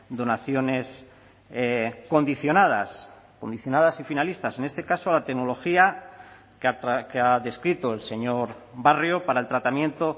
donaciones condicionadas condicionadas y finalistas en este caso a la tecnología que ha descrito el señor barrio para el tratamiento